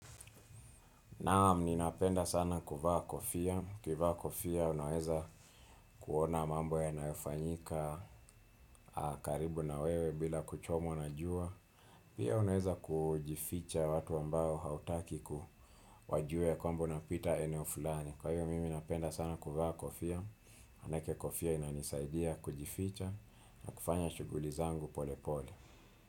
Naam, ninapenda sana kuvaa kofia. Ukivaa kofia unaweza kuona mambo yanayofanyika karibu na wewe bila kuchomwa na jua. Pia unaweza kujificha watu ambao hautaki wajue ya kwamba napita eneo fulani. Kwa hivyo mimi napenda sana kuva kofia. Manake kofia inanisaidia kujificha na kufanya shughuli zangu pole pole.